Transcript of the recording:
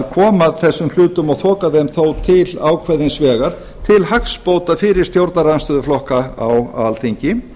koma þessum hlutum og þoka þeim þó til ákveðins vegar til hagsbóta fyrir stjórnarandstöðuflokka á alþingi